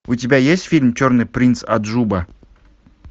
у тебя есть фильм черный принц аджуба